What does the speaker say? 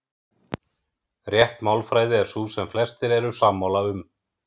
Rétt málfræði er sú sem flestir eru sammála um.